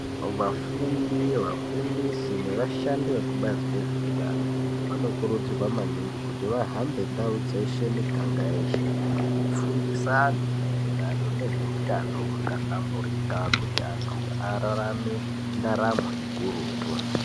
Vafundi nevafundisi nevashandi vekubazi rezvehutano vanokurudzirwa maningi kuti vahambe Monday dzeshe miganga yese veifundisa vantu Maererano nezvehutano wakahlamburika kuti antu ararame ndaramo ukurutu.